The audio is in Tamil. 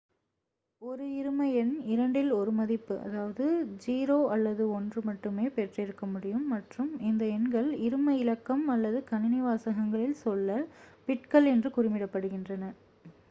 ஒரு 1 இரும எண் இரண்டில் 2 ஒரு மதிப்பு அதாவது 0 அல்லது 1 மட்டுமே பெற்றிருக்க முடியும் மற்றும் இந்த எண்கள் இரும இலக்கம் அல்லது கணினி வாசகங்களில் சொல்ல - பிட்கள் என்று குறிப்பிடப்படுகின்றன